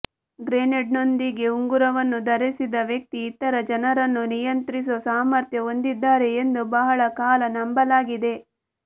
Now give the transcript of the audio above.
ಗ್ರೆನೇಡ್ನೊಂದಿಗೆ ಉಂಗುರವನ್ನು ಧರಿಸಿದ ವ್ಯಕ್ತಿ ಇತರ ಜನರನ್ನು ನಿಯಂತ್ರಿಸುವ ಸಾಮರ್ಥ್ಯ ಹೊಂದಿದ್ದಾರೆ ಎಂದು ಬಹಳ ಕಾಲ ನಂಬಲಾಗಿದೆ